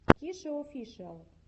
кишеофишиал